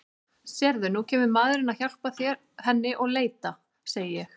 Sérðu, nú kemur maðurinn að hjálpa henni að leita, segi ég.